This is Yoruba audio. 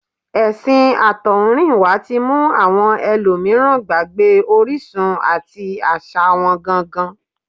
Ẹ̀sìn àtọ̀húnrìnwá tí mú àwọn ẹlòmíràn gbàgbé orísun àti àṣà wọn gangan